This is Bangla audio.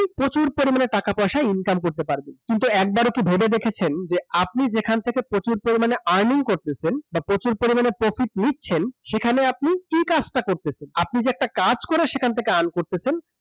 আপনি প্রচুর পরিমাণে টাকা পয়সা income করতে পারবেন কিন্তু একবারও কি ভেবে দেখেছেন যে আপনি যেখান থেকে প্রচুর পরিমাণে earning করতেছেন বা প্রচুর পরিমাণে profit নিচ্ছেন সেখানে আপনি কি কাজটা করতেছেন? আপনি যে একটা কাজ করে সেখান থেকে earn করতেছেন